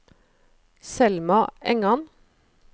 Selma Engan